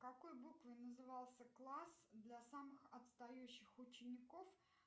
какой буквой назывался класс для самых отстающих учеников